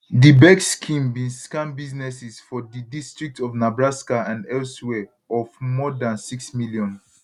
di bec scheme bin scam businesses for di district of nebraska and elsewhere of more dan 6 million